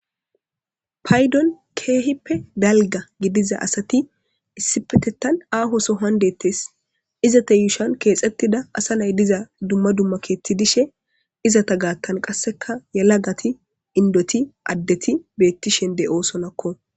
Paydon kehipe dala gidiza asati issipetetan aho sohon detes izeta yushon kexetida asa nay diza dumma dumma keti dishe izeta gathan qasekka yelafati idoti adti betishe de'osonako